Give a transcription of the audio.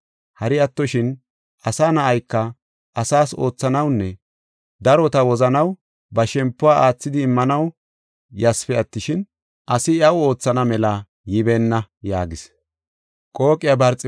Hari attoshin, Asa Na7ayka, asaas oothanawunne darota wozanaw ba shempuwa aathidi immanaw ysipe attishin, asi iyaw oothana mela yibeenna” yaagis.